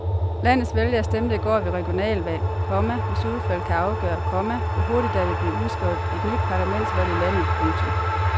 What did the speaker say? Landets vælgere stemte i går ved regionalvalg, komma hvis udfald kan afgøre, komma hvor hurtigt der vil blive udskrevet et nyt parlamentsvalg i landet. punktum